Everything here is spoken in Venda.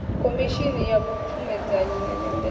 khomishini ya vhupfumedzanyi na nyambedzano